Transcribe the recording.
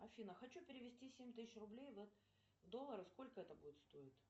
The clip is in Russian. афина хочу перевести семь тысяч рублей в доллары сколько это будет стоить